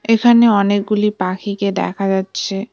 এখানে অনেকগুলি পাখিকে দেখা যাচ্ছে।